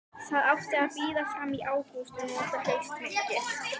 Það átti að bíða fram í ágúst og nota haustmyrkrið.